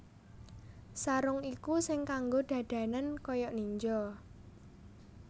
Sarung iku sing kanggo dadanan kaya ninja